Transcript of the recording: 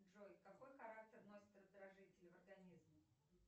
джой какой характер носит раздражитель в организме